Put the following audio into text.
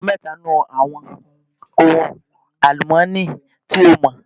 Dárúkọ mẹ́ta nínú àwọn ohun àlùmọ́ọ́nì tí o mọ̀?